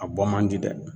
A bɔ man di dɛ